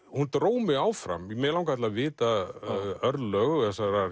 hún dró mig áfram mig langaði til að vita örlög þessarar